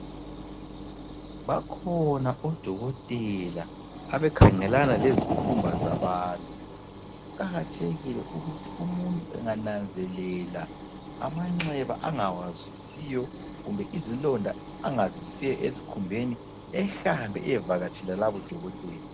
Bakhona odokotela abakhangelana lezikhumba zabantu, kuqakathekile ukuthi umuntu engananzelela amanxeba angawazwisisiyo kumbe izilonda angazizwisisiyo esikhumbeni ehambe eyevakatshela labo dokotela.